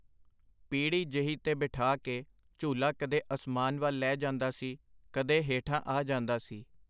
ਪੀੜ੍ਹੀ ਜਿਹੀ ਤੇ ਬਿਠਾ ਕੇ ਝੂਲਾ ਕਦੇ ਅਸਮਾਨ ਵੱਲ ਲੈ ਜਾਂਦਾ ਸੀ, ਕਦੇ ਹੇਠਾਂ ਆ ਜਾਂਦਾ ਸੀ.